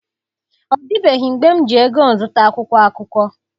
Ọ dịbeghị mgbe m ji ego m zụta akwụkwọ akụkọ.